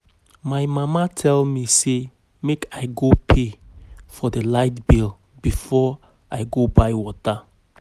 My mama tell me say make I go pay for the light bill before I go buy water